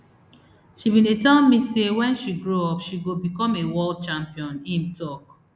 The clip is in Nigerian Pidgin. she bin dey tell me say wen she grow up she go become a world champion im tok